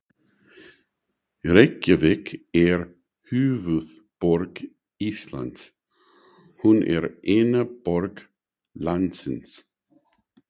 Reykjavík er höfuðborg Íslands. Hún er eina borg landsins.